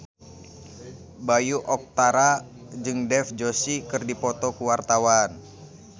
Bayu Octara jeung Dev Joshi keur dipoto ku wartawan